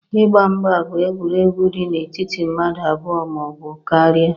Ịgba mgba bụ egwuregwu dị n'etiti mmadụ abụọ ma ọ bụ karịa